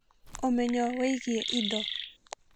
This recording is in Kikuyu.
Ũmenyo wĩgiĩ indo: